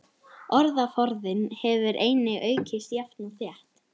Orðaforðinn hefur einnig aukist jafnt og þétt.